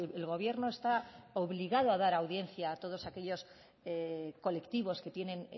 el gobierno está obligado a dar audiencia a todos aquellos colectivos que tienen